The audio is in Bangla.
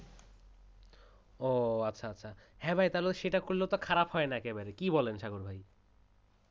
ও আচ্ছা আচ্ছা । হ্যাঁ ভাই সেটা করলে তো খারাপ হয় না একবারে কি বললে সাগর ভাই?